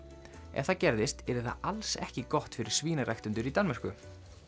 ef það gerðist yrði það alls ekki gott fyrir svínaræktendur í Danmörku